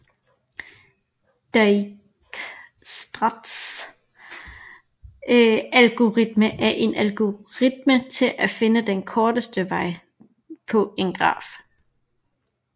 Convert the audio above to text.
Dijkstras algoritme er en algoritme til at finde den korteste vej på en graf